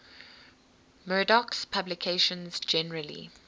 murdoch's publications generally